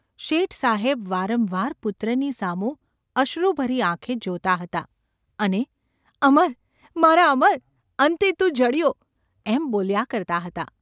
શેઠસાહેબ વારંવાર પુત્રની સામું અશ્રુભરી આંખે જોતા હતા અને ‘અમર ! મારા અમર ! અંતે તું જડ્યો ?’ એમ બોલ્યા કરતા હતા.